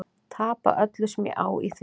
Tapa öllu sem ég á í því.